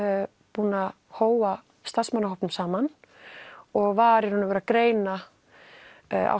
búinn að hóa starfsmannahópnum saman og var í raun og veru að greina á